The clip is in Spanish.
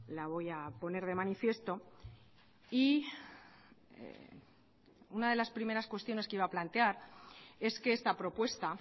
la voy a poner de manifiesto y una de las primeras cuestiones que iba a plantear es que esta propuesta